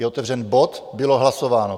Je otevřen bod, bylo hlasováno.